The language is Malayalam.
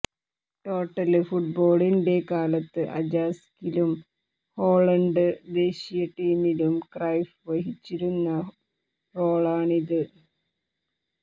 ടോട്ടല് ഫുട്ബോളിന്റെ കാലത്ത് അജാക്സിലും ഹോളണ്ട് ദേശീയ ടീമിലും ക്രൈഫ് വഹിച്ചിരുന്ന റോളാണിത്